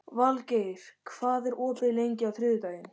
Valgeir, hvað er opið lengi á þriðjudaginn?